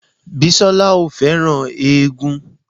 Bísọ́lá ò fẹ́ràn éégún